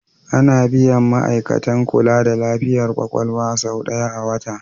Ana biyan ma'aikatan kula da lafiyar kwakwalwa sau ɗaya a wata.